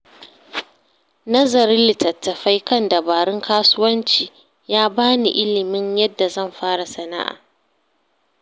Nazarin littattafai kan dabarun kasuwanci ya ba ni ilimin yadda zan fara sana’a.